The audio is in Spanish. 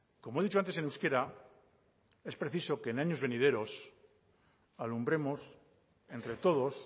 como he dicho antes en euskera es preciso que en años venideros alumbremos entre todos